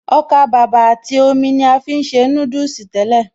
Ọkàbàbà àti omi ni a fi ń ṣe núdùsì tẹ́lẹ̀